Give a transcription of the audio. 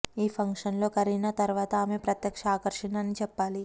ఈ పంక్షన్ లో కరీనా తర్వాత ఆమె ప్రత్యేక ఆకర్షణ అని చెప్పాలి